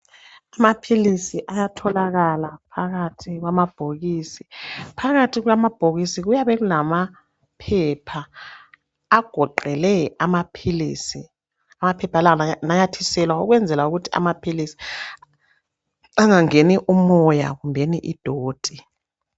Amaphilisi ayatholakala phakathi kwamabhokisi. Phakathi kwamabhokisi kuyabe kulamaphepha agoqele amaphilisi amaphepha la ananyathiselwa ukwenzela ukuthi angangeni umoya kumbeni idoti.